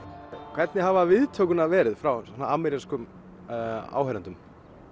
hvernig hafa viðtökurnar verið frá amerískum áheyrendum